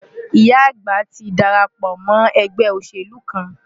Ìyá àgbà ti darapọ̀ mọ́ ẹgbẹ́ òṣèlú kan.